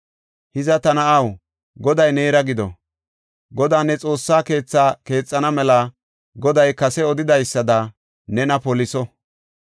“Hiza ta na7aw, Goday neera gido. Godaa ne Xoossaa keetha keexana mela Goday kase odidaysada nena poliso.